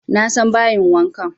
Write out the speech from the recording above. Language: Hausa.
Na san bayin wankan